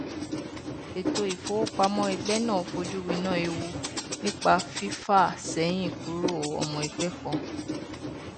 ètò ìfowópamọ ẹgbẹ náà fojú winá ewu nípa fífàsẹyìnkúrò ọmọ ẹgbẹ kan